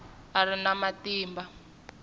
a a ri na matimba